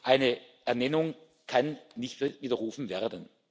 Eine Ernennung kann nicht widerrufen werden.